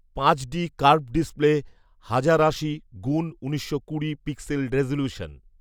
পাঁচ D curved display, হাজার আশি গুণ উনিশশো কুড়ি পিক্সেল রেজলিউশন